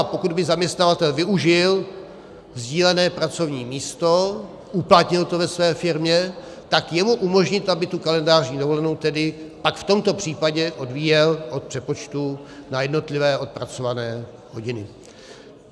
A pokud by zaměstnavatel využil sdílené pracovní místo, uplatnil to ve své firmě, tak jemu umožnit, aby tu kalendářní dovolenou tedy pak v tomto případě odvíjel od přepočtu na jednotlivé odpracované hodiny.